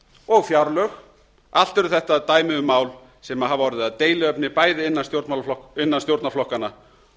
og fjárlög allt eru þetta dæmi um mál sem hafa orðið að deiluefni bæði innan stjórnarflokkanna